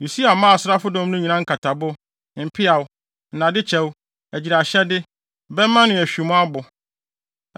Usia maa asraafodɔm no nyinaa nkatabo, mpeaw, nnadekyɛw, agyiraehyɛde, bɛmma ne ahwimmo abo.